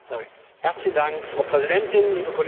Frau Präsidentin, liebe Kolleginnen, liebe Kollegen!